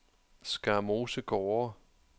Skarmose Gårde